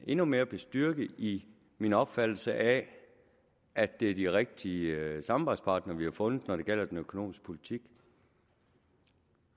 endnu mere bestyrket i min opfattelse af at det er de rigtige samarbejdspartnere vi har fundet når det gælder den økonomiske politik